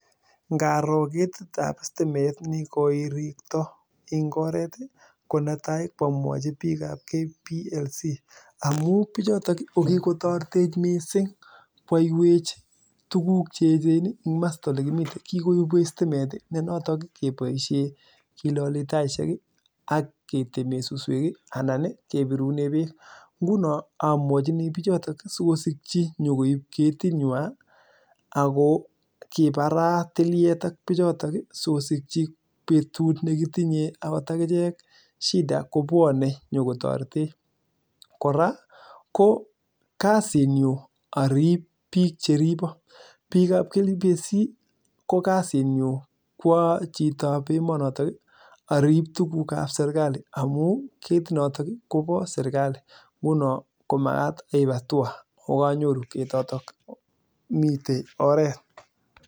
Ngaroo ketit ab sitimet komii oret konetai ko amwachii biik chepoo KPLC amuu kikotoretech missing koaywech tuguk che echen kikoibwech sitimet koraa ko kasit nyuu arib biik cheriboo